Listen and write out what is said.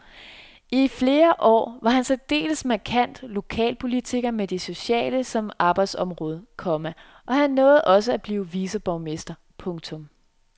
I flere år var han særdeles markant lokalpolitiker med det sociale som arbejdsområde, komma og han nåede også at blive viceborgmester. punktum